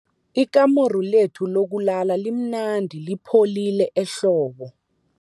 Ikamuru lethu lokulala limnandi lipholile ehlobo.